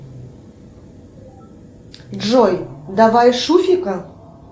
джой давай шуфика